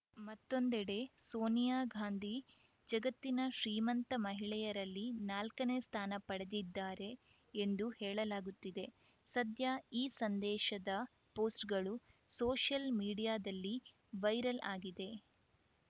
ಮತ್ತೊಂದೆಡೆ ಸೋನಿಯಾ ಗಾಂದಿ ಜಗತ್ತಿನ ಶ್ರೀಮಂತ ಮಹಿಳೆಯರಲ್ಲಿ ನಾಲ್ಕನೇ ಸ್ಥಾನ ಪಡೆದಿದ್ದಾರೆ ಎಂದೂ ಹೇಳಲಾಗುತ್ತಿದೆ ಸದ್ಯ ಈ ಸಂದೇಶದ ಪೋಸ್ಟ್‌ ಗಳು ಸೋಷಿಯಲ್‌ ಮೀಡಿಯಾದಲ್ಲಿ ವೈರಲ್‌ ಆಗಿದೆ